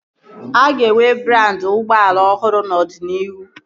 A ka ga-enwe brandị ụgbọala ọhụrụ n'ọdịnihu